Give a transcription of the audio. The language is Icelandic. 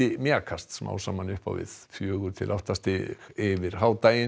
mjakast smám saman upp á við fjögurra til átta stig yfir